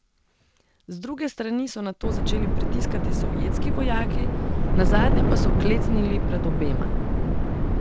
Z druge strani so nato začeli pritiskati sovjetski vojaki, nazadnje pa so klecnili pred obema.